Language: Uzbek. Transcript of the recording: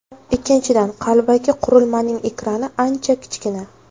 Ikkinchidan, qalbaki qurilmaning ekrani ancha kichkina.